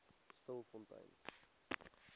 stilfontein